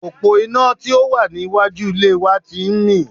Òpó iná tí ò wà ní iwájú ilé wa ti ń mì